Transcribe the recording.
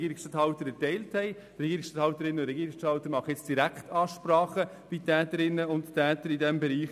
Die Regierungsstatthalterinnen und Regierungsstatthalter machen jetzt Direktansprachen bei Täterinnen und Tätern in diesem Bereich.